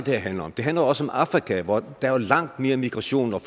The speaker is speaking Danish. her handler om det handler også om afrika hvortil der er langt mere migration og